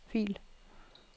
fil